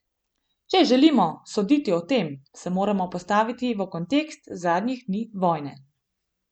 Če želimo soditi o tem, se moramo postaviti v kontekst zadnjih dni vojne.